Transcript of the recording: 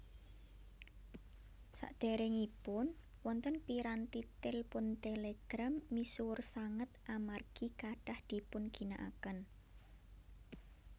Saderengipun wonten piranti télpon télégram misuwur sanget amargi kathah dipunginakaken